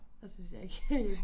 Og så synes jeg ikke helt